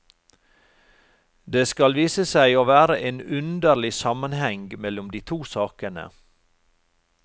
Det skal vise seg å være en underlig sammenheng mellom de to sakene.